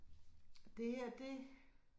Det her det